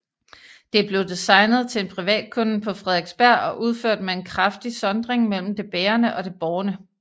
Det blev designet til en privatkunde på Frederiksberg og udført med en kraftig sondring mellem det bærende og det bårne